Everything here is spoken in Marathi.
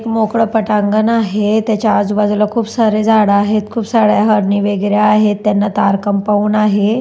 मोकळं पटांगण आहे त्याच्या आजूबाजूला खूप सारे झाडं आहेत खूप साऱ्या हरणी वेगेरा आहे त्यांना तार कंपाऊंड आहे.